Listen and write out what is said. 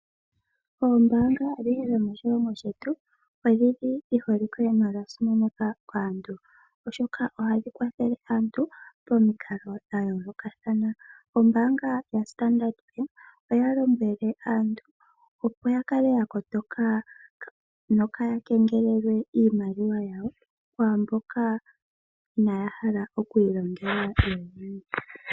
Oombaanga odhindji dhomoshilongo shetu odhi li dhi holike nodha simanekwa kaantu oshoka ohashi kwathele aantu pamikalo dha yoolokathana. Ombaanga ya standard Bank oya lombwele aantu opo ya kale ya kotoka nokaaya kengelelwe iimaliwa yawo kwaamboka inaaya hala okwiilongela yo yene.